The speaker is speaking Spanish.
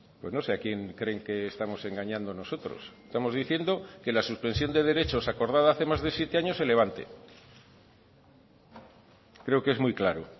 pues no sé a quién creen que estamos engañando nosotros estamos diciendo que la suspensión de derechos acordada hace más de siete años se levante creo que es muy claro